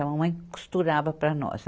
A mamãe costurava para nós.